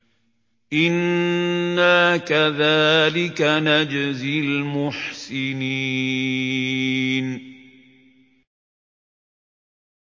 إِنَّا كَذَٰلِكَ نَجْزِي الْمُحْسِنِينَ